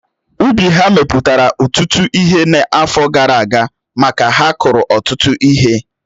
Ubi ha mepụtara ụtụtụ ihe n'afọ gara aga maka ha kuru ọtụtụ ihe